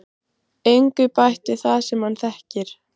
Engu bætt við það sem hann þekkir.